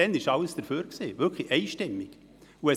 Damals waren alle dafür, sie wurde einstimmig überwiesen.